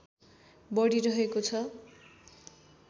बढी रहेको छ